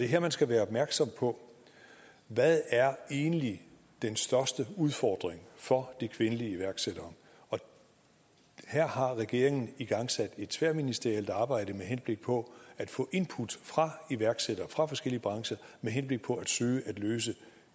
her man skal være opmærksom på hvad er egentlig den største udfordring for de kvindelige iværksættere og her har regeringen igangsat et tværministerielt arbejde med henblik på at få input fra iværksættere fra forskellige brancher med henblik på at søge at løse